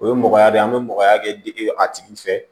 O ye mɔgɔya de ye an be mɔgɔya kɛ dege a tigi fɛ